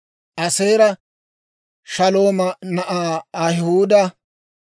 Aaseera Shalooma na'aa Ahihuuda;